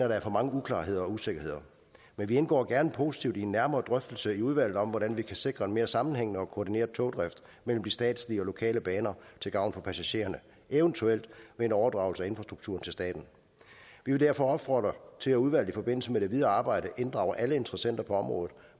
der er for mange uklarheder og usikkerheder men vi indgår gerne positivt i en nærmere drøftelse i udvalget om hvordan man kan sikre en mere sammenhængende og koordineret togdrift mellem de statslige og lokale baner til gavn for passagererne eventuelt med overdragelse af infrastrukturen til staten vi vil derfor opfordre til at udvalget i forbindelse med det videre arbejde inddrager alle interessenter på området